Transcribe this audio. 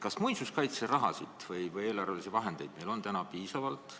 Kas muinsuskaitse jaoks on meil raha või eelarvelisi vahendeid piisavalt?